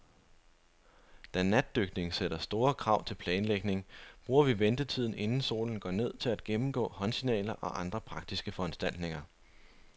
Da natdykning sætter store krav til planlægning, bruger vi ventetiden, inden solen går ned, til at gennemgå håndsignaler og andre praktiske foranstaltninger.